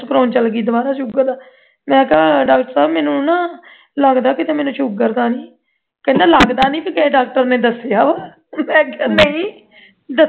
test ਕਰਵਾਨ ਚਲੀ ਗਈ sugar ਦਾ ਮੈਂ ਕਿਹਾ doctor ਸਾਹਿਬ ਮੈਨੂੰ ਨਾ ਲਗਦਾ ਮੈਨੂੰ sugar ਤਾਂ ਨਹੀਂ ਕਹਿੰਦਾ ਲੱਗਦਾ ਨਹੀਂ ਤੇਰੇ ਡਾਕਟਰ ਨੇ ਦੱਸਿਆ ਵਾਹ ਮੈਂ ਕਿਹਾ ਦੱਸਿਆ